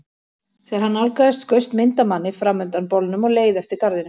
Þegar hann nálgaðist skaust mynd af manni fram undan bolnum og leið eftir garðinum.